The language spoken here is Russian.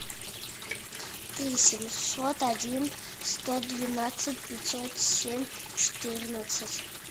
три семьсот один сто двенадцать пятьсот семь четырнадцать